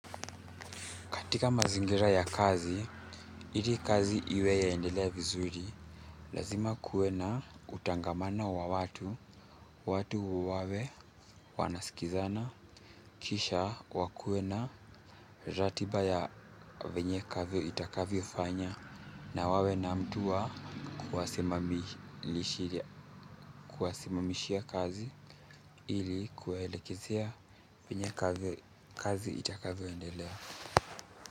Katika mazingira ya kazi, ili kazi iwe yaendelea vizuri, lazima kuwe na kutangamana wa watu, watu wawe wanaskizana, kisha wakue na ratiba ya venye itakavyofanya na wawe na mtu wa kuwasimamia kuwasimamishia kazi ili kuwaelekezea venye kazi itakavyo endelea.